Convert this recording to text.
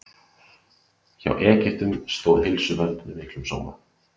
Hjá Egyptum stóð heilsuvernd með miklum blóma.